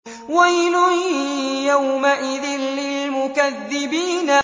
وَيْلٌ يَوْمَئِذٍ لِّلْمُكَذِّبِينَ